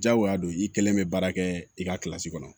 Diyagoya don i kelen bɛ baara kɛ i ka kɔnɔ